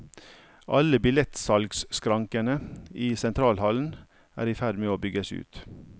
Alle billettsalgskrankene i sentralhallen er i ferd med å bygges ut.